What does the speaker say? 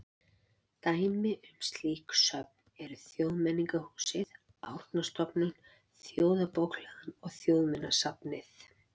Dæmi um slík söfn eru Þjóðmenningarhúsið, Árnastofnun, Þjóðarbókhlaðan og Þjóðminjasafnið.